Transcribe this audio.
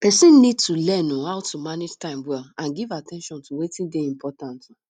person need to learn um how to manage time well and give at ten tion to wetin dey important um